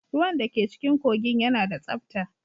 Ruwan da ke cikin kogin yana da tsabta.